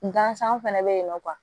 Gansan fɛnɛ bɛ yen nɔ